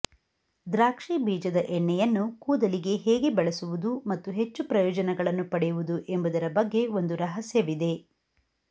ದ್ರಾಕ್ಷಿ ಬೀಜದ ಎಣ್ಣೆಯನ್ನು ಕೂದಲಿಗೆ ಹೇಗೆ ಬಳಸುವುದು ಮತ್ತು ಹೆಚ್ಚು ಪ್ರಯೋಜನಗಳನ್ನು ಪಡೆಯುವುದು ಎಂಬುದರ ಬಗ್ಗೆ ಒಂದು ರಹಸ್ಯವಿದೆ